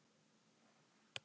Sett inn á tölvuna þína.